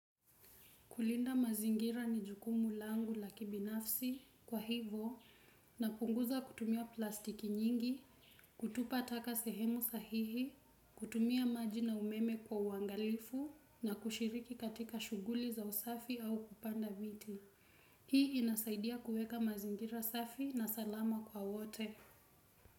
Kulinda mazingira ni jukumu langu la kibinafsi kwa hivo napunguza kutumia plastiki nyingi, kutupa taka sehemu sahihi, kutumia maji na umeme kwa uangalifu na kushiriki katika shughuli za usafi au kupanda miti. Hii inasaidia kuweka mazingira safi na salama kwa wote.